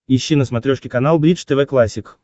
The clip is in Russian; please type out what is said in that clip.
ищи на смотрешке канал бридж тв классик